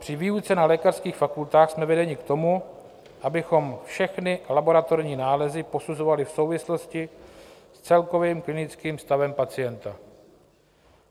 Při výuce na lékařských fakultách jsme vedeni k tomu, abychom všechny laboratorní nálezy posuzovali v souvislosti s celkovým klinickým stavem pacienta.